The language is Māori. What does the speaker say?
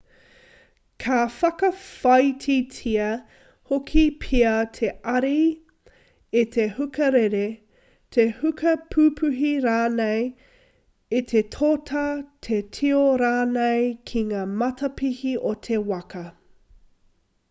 ka whakawhāititia hoki pea te ari e te huka rere te huka pupuhi rānei e te tōtā te tio rānei ki ngā matapihi o te waka